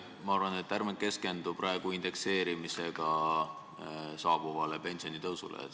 Ma arvan, et ärme keskendume praegu indekseerimisega saabuvale pensionitõusule.